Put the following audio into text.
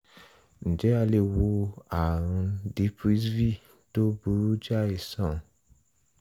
ǹjẹ́ a lè wo ààrùn dprsv tó burú jáì sàn?